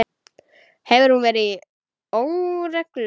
Hefur hún verið í óreglu?